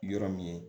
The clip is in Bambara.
Yɔrɔ min ye